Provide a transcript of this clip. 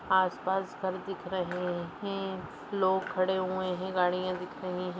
आसपास घर दिख रहे हैं लोग खड़े हुए हैं गाड़ियां दिख रही हैं।